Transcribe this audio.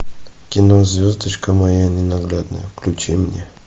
кино звездочка моя ненаглядная включи мне